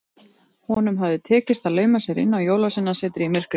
Honum hafði tekist að lauma sér inn á Jólasveinasetrið í myrkrinu.